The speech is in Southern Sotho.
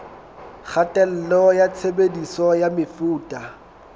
kgatello ya tshebediso ya mefuta